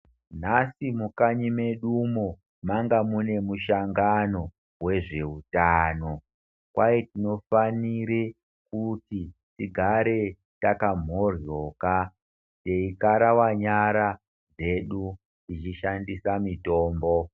Nhasi mukanyi medumo, manga mune mushangano wezveutano kwai tinofanire kuti tigare takamhohloka teikarawa nyara dzedu teishandisa mitombo.